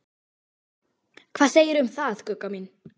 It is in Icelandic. Hvað segirðu um það, Gugga mín?